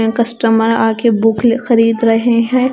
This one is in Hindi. कस्टमर आके बुक खरीद रहे हैं।